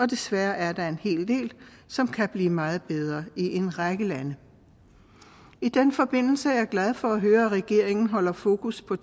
desværre er der en hel del som kan blive meget bedre i en række lande i den forbindelse er jeg glad for at høre at regeringen holder fokus på